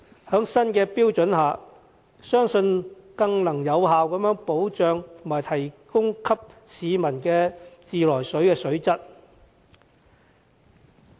在新的標準下，相信能更有效保障提供給市民的自來水水質。